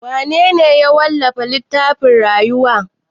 Wanene ya wallafa littafin rayuwa?